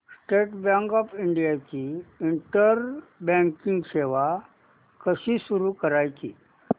state Bank of India ची internet banking सेवा कशी सुरू करायची